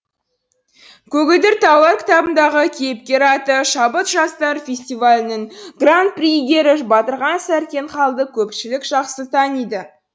көгілдір таулар кітабындағы кейіпкер аты шабыт жастар фестивелінің гран при иегері батырхан сәрсенхалды көпшілік жақсы таниды